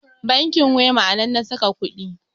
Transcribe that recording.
bankin wema a nan na saka kuɗin